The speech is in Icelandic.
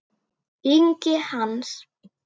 Ingi Hans.